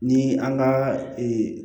Ni an ka